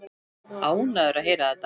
Ánægður að heyra þetta.